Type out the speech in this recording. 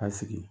A sigi